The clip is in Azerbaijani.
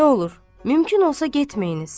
Nə olur, mümkün olsa getməyiniz.